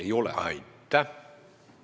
Ei ole!